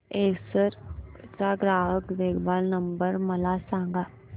Acer चा ग्राहक देखभाल नंबर मला सांगा